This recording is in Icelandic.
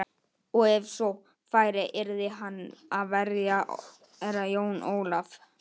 Og ef svo færi yrði hann að verja Herra Jón Ólaf.